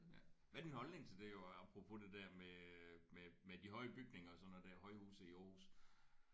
Hvad er din holdning til det jo apropos det der med øh med med de høje bygninger højhuse i Aarhus?